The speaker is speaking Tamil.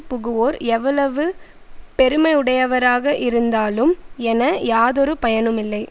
புகுவோர் எவ்வளவு பெருமையுடையவராக இருந்தாலும் என யாதொரு பயனுமில்லை